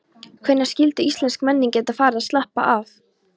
Hvenær skyldi íslensk menning geta farið að slappa af?